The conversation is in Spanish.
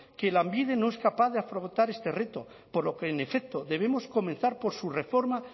que lanbide no es capaz de afrontar este reto por lo que en efecto debemos comenzar por su reforma